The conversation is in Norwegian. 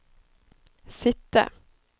sitte